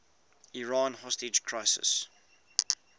iran hostage crisis